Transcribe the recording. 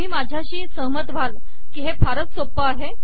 तुम्ही माझ्याशी सहमत व्हाल कि हे फारच सोपं आहे